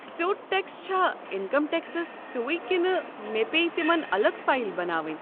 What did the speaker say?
سیوٚد ٹٮ۪کس چھا انکم ٹٮ۪کسس ہِیُوُی کنہٕ مےٚ پیٚیہِ تمن الگ فایل بناوٕنۍ؟